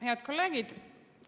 Head kolleegid!